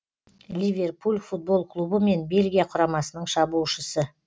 ливерпуль футбол клубы мен бельгия құрамасының шабуылшысы